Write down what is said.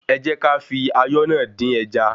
Ẹ jẹ́ kí á fi ayọ́ náà dín ẹja.